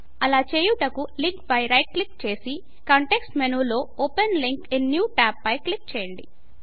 అలా చేయుటకు లింకు పై రైట్ క్లిక్ చేసి కాంటెక్స్ట్ మెనూ లో open link in new tab పై క్లిక్ చేయండి